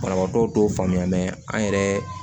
Banabaatɔ dɔw faamuya an yɛrɛ